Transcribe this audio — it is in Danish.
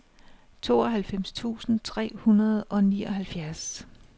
tooghalvfems tusind tre hundrede og nioghalvfjerds